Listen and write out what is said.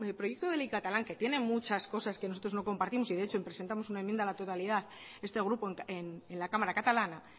proyecto de ley catalán que tiene muchas cosas que nosotros no compartimos y de hecho presentamos una enmienda a la totalidad este grupo en la cámara catalana